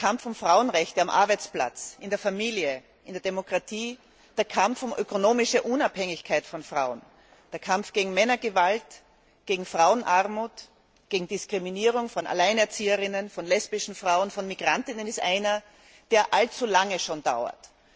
Der Kampf um Frauenrechte am Arbeitsplatz, in der Familie, in der Demokratie, der Kampf um wirtschaftliche Unabhängigkeit von Frauen, der Kampf gegen Männergewalt, gegen Frauenarmut, gegen Diskriminierung von Alleinerzieherinnen, von lesbischen Frauen, von Migrantinnen ist einer, der schon allzu lange dauert.